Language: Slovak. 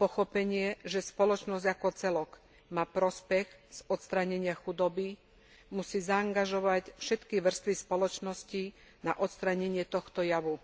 pochopenie, že spoločnosť ako celok má prospech z odstránenia chudoby, musí zaangažovať všetky vrstvy spoločnosti na odstránenie tohto javu.